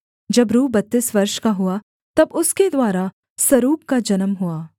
जब रू बत्तीस वर्ष का हुआ तब उसके द्वारा सरूग का जन्म हुआ